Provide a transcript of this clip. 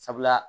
Sabula